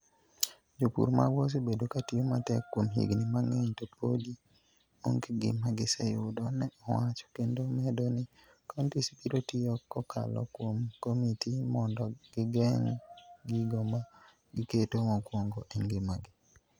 Jopur magwa osebedo ka tiyo matek kuom higini mang'eny to podi onge gima giseyudo, ne owacho, kendo medo ni counties biro tiyo kokalo kuom komiti mondo ging'e gigo ma giketo mokwongo e ngimagi.